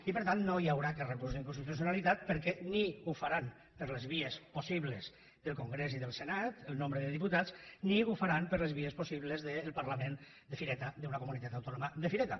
i per tant no hi haurà aquest recurs d’inconstitucionalitat perquè ni ho faran per les vies possibles del congrés i del senat el nombre de diputats ni ho faran per les vies possibles del parlament de fireta d’una comunitat autònoma de fireta